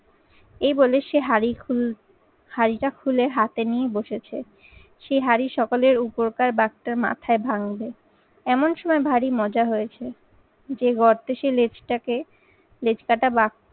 এই বলে সে হাড়ি খুলু~ হাড়িটা খুলে হাতে নিয়ে বসেছে। সেই হাঁড়ি সকলের উপরকার বাঘটার মাথায় ভাঙবে। এমন সময় ভারী মজা হয়েছে যে গর্তে সে লেজটাকে লেজকাটা বাঘ